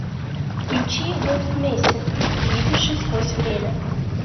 включи вольф мессинг видевший сквозь время